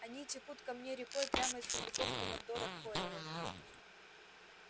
они текут ко мне рекой прямо из сундуков командора корела